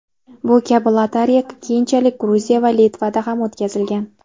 Bu kabi lotereya keyinchalik Gruziya va Litvada ham o‘tkazilgan.